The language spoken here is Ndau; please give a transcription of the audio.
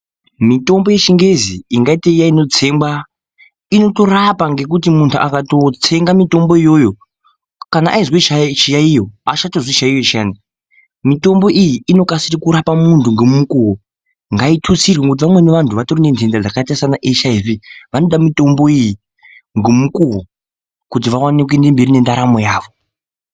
Mitombo yeChiNgezi ingaite iya inotsengwa, inotorapa ngekuti muntu akatotsenga mitombo iyoyo kana aizwe chiyaiyo, haachatozwi chiyaiyo chiyana. Mitombo iyi inokasire kurapa muntu ngemukuwo. Ngaitutsirwe ngekuti vamweni vantu vatori nendenda dzakaita sanaHIV, vanoda mitombo iyi ngomukuwo kuti vawane kuende mberi nendaramo yavo.